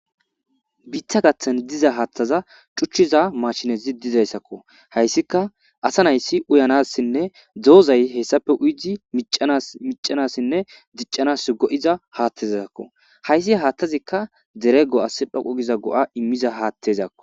biitta gaththan diza haaththaza cuchchiza mashinezi dizayssakko hayssika asa nayssi uyanassinne doozay hessafe uyidi micanassinne diccanas go7iza haattezsakko hayssi haattazikka dere go7as dhoqu giza go7a immiza haattezakko